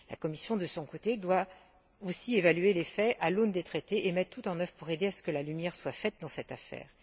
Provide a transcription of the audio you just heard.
La Commission, de son côté, doit aussi évaluer les faits à l'aune des traités et mettre tout en œuvre pour aider à ce que la lumière soit faite dans cette affaire.